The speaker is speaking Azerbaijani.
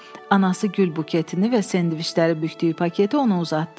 Anası gül buketini və sendviçləri bükdüyü paketi ona uzatdı.